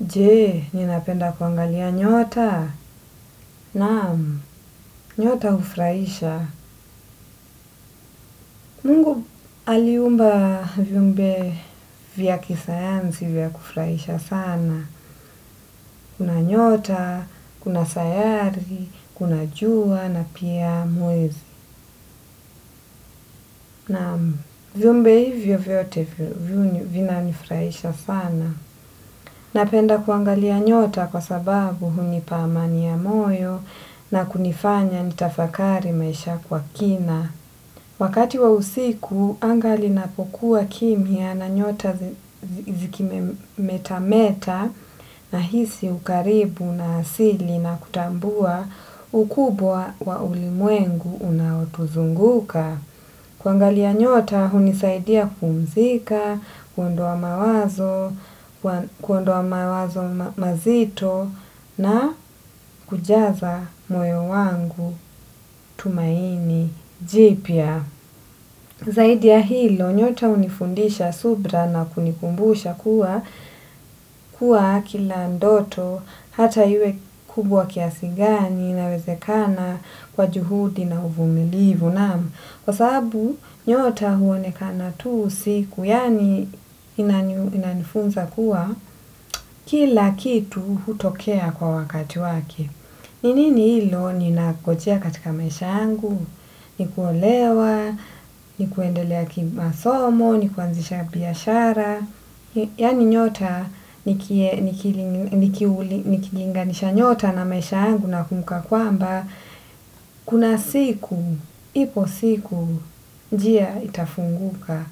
Je, ninapenda kuangalia nyota? Naam, nyota hufurahisha. Mungu aliumba viumbe vya kisayansi vya kufurahisha sana. Kuna nyota, kuna sayari, kuna jua na pia mwezi. Naam, viumbe hivyo vyote vinanifurahisha sana. Napenda kuangalia nyota kwa sababu hunipa amani ya moyo na kunifanya nitafakari maisha kwa kina. Wakati wa usiku, anga linapokuwa kimya na nyota zikimetameta nahisi ukaribu na asili na kutambua ukubwa wa ulimwengu unaotuzunguka. Kuangalia nyota, hunisaidia kupumzika, kuondoa mawa kuondoa mawazo mazito na kujaza moyo wangu tumaini jipya. Zaidi ya hilo, nyota hunifundisha subra na kunikumbusha kuwa kuwa kila ndoto hata iwe kubwa kiasi gani inawezekana kwa juhudi na uvumilivu. Naam kwa sababu nyota huonekana tu usiku, yani inanifunza kuwa kila kitu hutokea kwa wakati wake. Ni nini hilo ninangojea katika maisha yangu, ni kuolewa, ni kuendelea kimasomo, ni kuanzisha biashara. Yani nyota nikilinganisha nyota na maisha yangu nakumbuka kwamba kuna siku, ipo siku, njia itafunguka.